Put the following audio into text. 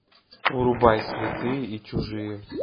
врубай святые и чужие